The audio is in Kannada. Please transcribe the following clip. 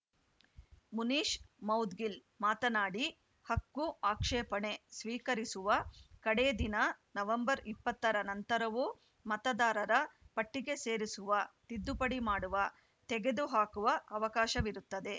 ಮುನೀಷ್‌ ಮೌದ್ಗಿಲ್‌ ಮಾತನಾಡಿ ಹಕ್ಕುಆಕ್ಷೇಪಣೆ ಸ್ವೀಕರಿಸುವ ಕಡೇ ದಿನ ನವೆಂಬರ್ ಇಪ್ಪತ್ತರ ನಂತರವೂ ಮತದಾರರ ಪಟ್ಟಿಗೆ ಸೇರಿಸುವ ತಿದ್ದುಪಡಿ ಮಾಡುವ ತೆಗೆದು ಹಾಕುವ ಅವಕಾಶವಿರುತ್ತದೆ